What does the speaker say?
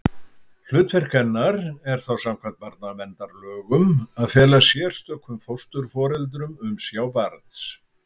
Hlutverk hennar er þá samkvæmt barnaverndarlögum að fela sérstökum fósturforeldrum umsjá barns.